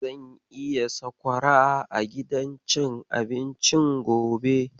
Zan sayi sakwara a gidan cin abincin gobe.